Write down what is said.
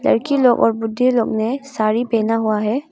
लड़की लोग और बुड्ढे लोग ने साड़ी पहना हुआ है।